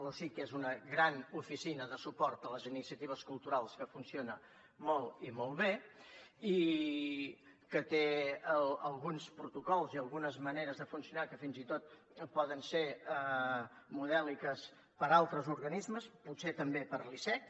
l’osic és una gran oficina de suport a les iniciatives culturals que funciona molt i molt bé i que té alguns protocols i algunes maneres de funcionar que fins i tot poden ser modèliques per a altres organismes potser també per a l’icec